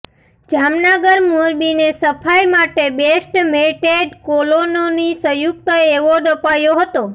જામનગર મોરબીને સફાઇ માટે બેસ્ટ મેઇન્ટેડ કોલોનીનો સંયુકત એવોર્ડ અપાયો હતો